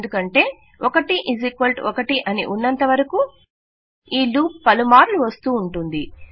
ఎందుకంటే 11 అని ఉన్నంత వరకూ ఈ లూప్ పలుమార్లు వస్తూంటూంది